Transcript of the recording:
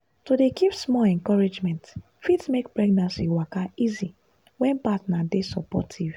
to dey give small encouragement fit make pregnancy waka easy when partner dey supportive.